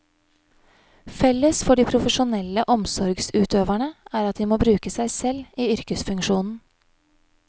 Felles for de profesjonelle omsorgsutøverne er at de må bruke seg selv i yrkesfunksjonen.